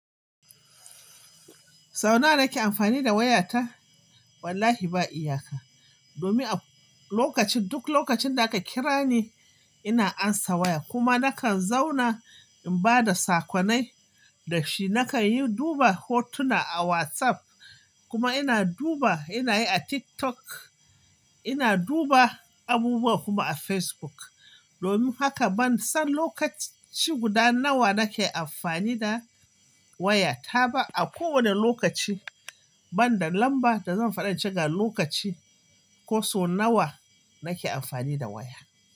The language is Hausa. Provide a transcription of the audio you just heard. Sau nawa kake amfani da wayarka? Wallahi ba iyaka. Domin a lokacin, duk lokacin da aka kira ni, ina amsa waya kuma nakan zauna in ba da saƙonnai da shi. Nakan yi duba hotuna a WhatsApp kuma ina duba, ina yi a TikTok, ina duba abubuwa kuma a Facebook. Domin haka ban san lokaci guda nawa nake amfani da wayata ba. A kowane lokaci, ban da lamba da zan faɗa ce ga lokaci ko so nawa nake amfani da waya.